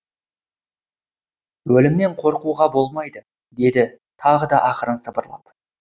өлімнен қорқуға болмайды деді тағы да ақырын сыбырлап